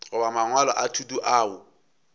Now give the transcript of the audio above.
goba mangwalo a thuto ao